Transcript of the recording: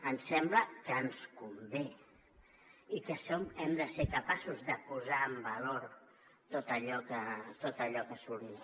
em sembla que ens convé i que hem de ser capaços de posar en valor tot allò que assolim